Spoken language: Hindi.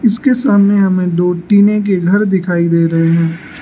इसके सामने हमें दो टीने के घर दिखाई दे रहे हैं।